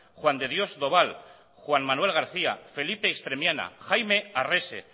juan de dios doval juan manuel garcía felipe extremiana jaime arrese